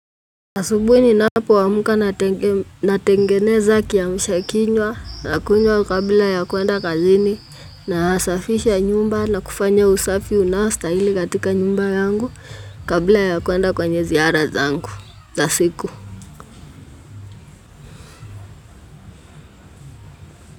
Asubuhi ninapo amka natengeneza kiamsha kinywa nakunywa kabla ya kuenda kazini nasafisha nyumba na kufanya usafi unaostahili katika nyumba yangu kabla ya kuenda kwenye ziara zangu za siku.